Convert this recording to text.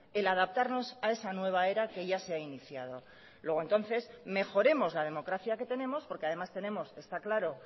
el adaptarnos a esa nueva era que ya se ha iniciado luego entonces mejoremos la democracia que tenemos porque además tenemos está claro